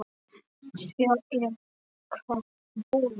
Svo er það búið.